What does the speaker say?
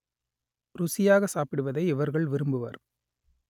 ருசியாக சாப்பிடுவதை இவர்கள் விரும்புவர்